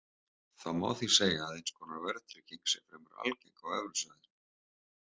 Það má því segja að eins konar verðtrygging sé fremur algeng á evrusvæðinu.